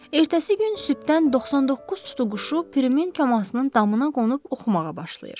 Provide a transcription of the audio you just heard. Ertəsi gün sübdən 99 tutuquşu Pirimin kəmasının damına qonub oxumağa başlayır.